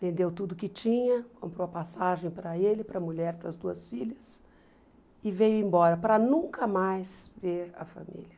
vendeu tudo que tinha, comprou a passagem para ele, para a mulher, para as duas filhas, e veio embora para nunca mais ver a família.